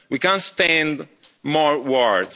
We can't stand more words.